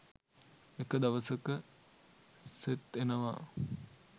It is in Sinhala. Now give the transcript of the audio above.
එක දවසක සෙත් එනවා